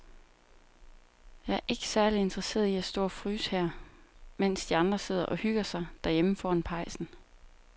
Jeg er ikke særlig interesseret i at stå og fryse her, mens de andre sidder og hygger sig derhjemme foran pejsen.